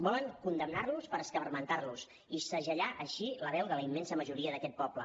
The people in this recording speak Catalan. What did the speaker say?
volen condemnar los per escarmentar los i segellar així la veu de la immensa majoria d’aquest poble